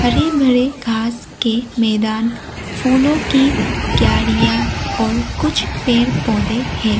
हरे भरे घास के मैदान फूलों की क्यारिया और कुछ पेड़ पौधे है।